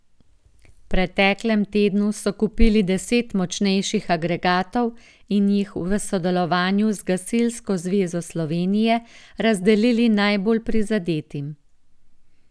V preteklem tednu so kupili deset močnejših agregatov in jih v sodelovanju z Gasilsko zvezo Slovenije razdelili najbolj prizadetim.